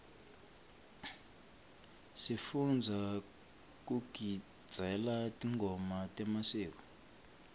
sifundza kugidzela tingoma temasiko